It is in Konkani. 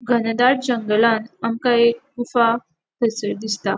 घनदाट जंगलान आमका एक गुफा थंयसर दिसता.